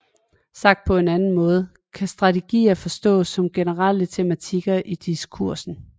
Sagt på en anden måde kan strategier forstås som generelle tematikker i diskursen